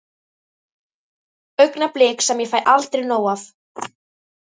Augnablik sem ég fæ aldrei nóg af.